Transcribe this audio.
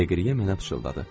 Deqri yemənə pıçıldadı.